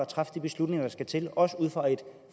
træffe de beslutninger der skal til også ud fra et